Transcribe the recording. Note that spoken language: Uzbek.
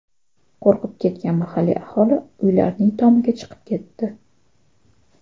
Qo‘rqib ketgan mahalliy aholi uylarning tomiga chiqib ketdi.